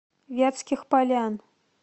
вятских полян